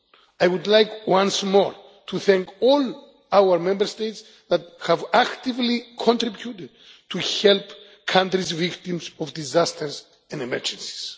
I would like once more to thank all our Member States that have actively contributed to help countries that are victims of disasters and emergencies.